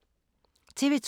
TV 2